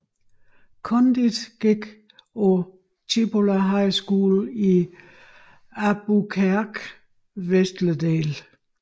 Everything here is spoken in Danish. Condit gik på Cibola High School i Albuquerques vestlige del